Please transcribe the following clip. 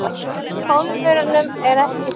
Pólverjunum er ekki skemmt.